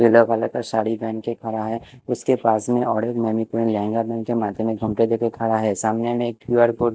पिले कलर की साड़ी पहन क खड़ा है उसके बाजू में और एक मैंनिक्विन लहंगा पेहन के खड़ा है सामने में कयू _आर कोड --